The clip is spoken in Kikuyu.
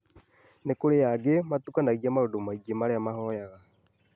Nĩkũrĩ angĩ matukanagia maũndũ maingĩ marĩa mahoyaga